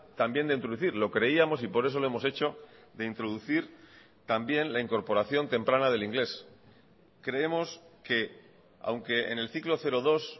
también de introducir lo creíamos y por eso lo hemos hecho de introducir también la incorporación temprana del inglés creemos que aunque en el ciclo cero dos